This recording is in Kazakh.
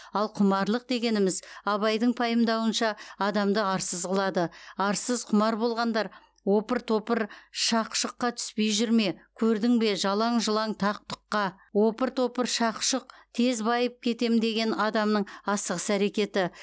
ал құмарлық дегеніміз абайдың пайымдауынша адамды арсыз қылады арсыз құмар болғандар опыр топыр шақ шұққа түспей жүр ме көрдің бе жалаң жұлаң тақ тұққа опыр топыр шақ шұқ тез байып кетем деген адамның асығыс әрекеті